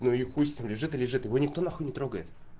ну и хуй с ним лежит и лежит его никто нахуй не трогает